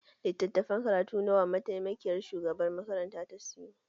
Littafan karatu nawa mataimakiyar shugabar makaranta ta sayo?